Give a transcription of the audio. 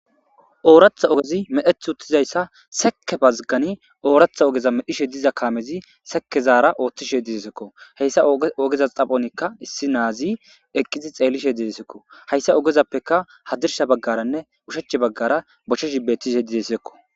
Ooratha ogezi medheth uttizayssa seke bazgani ooratha ogeza medhishe diza kaamezi sekezaara ooththishe didesekko heyssa ogeza xaphonikka issi naazi eqqizi xeellishe didesekko hayssa ogezappeka hadirsha baggaranne ushach baggara bochche shibetishe didesekko